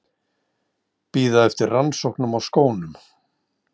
Bíða eftir rannsóknum á skónum